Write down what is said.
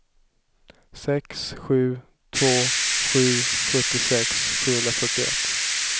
sju sex två sju sjuttiosex sjuhundrafyrtioett